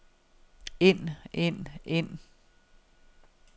ind ind ind